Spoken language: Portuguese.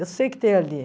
Eu sei que tem ali.